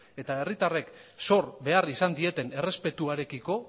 eta herritarren zor behar izan dioten errespetuarekiko